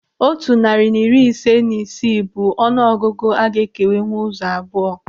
Otu narị na iri ise na isii bụ ọnụ ọgụgụ a ga-ekewanwu ụzọ abụọ.